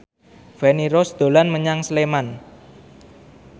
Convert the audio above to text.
Feni Rose dolan menyang Sleman